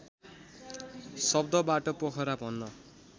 शब्दबाट पोखरा भन्न